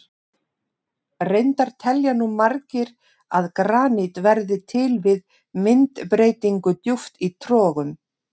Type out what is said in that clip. Reyndar telja nú margir að granít verði til við myndbreytingu djúpt í trogum.